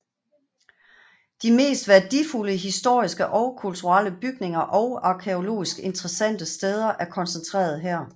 De mest værdifulde historiske og kulturelle bygninger og arkæologisk interessante steder er koncentreret her